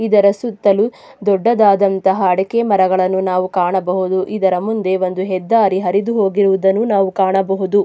ಇದರ ಸುತ್ತಲೂ ದೊಡ್ಡದಾದಂತಹ ಅಡಕೆ ಮರಗಳನ್ನು ನಾವು ಕಾಣಬಹುದು ಇದರ ಮುಂದೆ ಒಂದು ಹೆದ್ದಾರಿ ಹರಿದು ಹೋಗಿರುವುದನ್ನು ನಾವು ಕಾಣಬಹುದು.